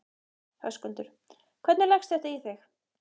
Höskuldur: Hvernig leggst þetta í þig?